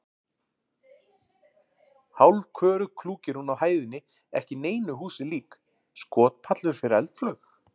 Hálfköruð klúkir hún á hæðinni ekki neinu húsi lík: skotpallur fyrir eldflaug?